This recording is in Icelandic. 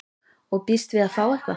Og býst við að fá eitthvað?